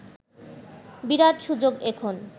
বিরাট সুযোগ এখন